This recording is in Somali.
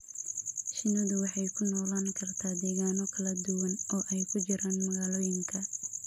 Shinnidu waxay ku noolaan kartaa deegaanno kala duwan, oo ay ku jiraan magaalooyinka.